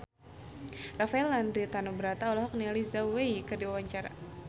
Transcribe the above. Rafael Landry Tanubrata olohok ningali Zhao Wei keur diwawancara